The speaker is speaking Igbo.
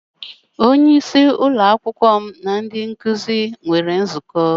Onye isí ụlọ akwụkwọ m na ndị nkụzi nwere nzukọ.